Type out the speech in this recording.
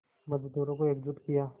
मज़दूरों को एकजुट किया